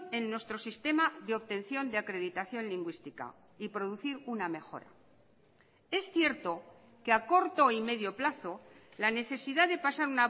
en nuestro sistema de obtención de acreditación lingüística y producir una mejora es cierto que a corto y medio plazo la necesidad de pasar